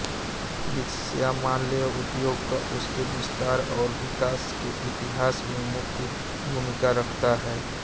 विश्रामालय उद्योग का इसके विस्तार और विकास के इतिहास में मुख्य भूमिका रखता है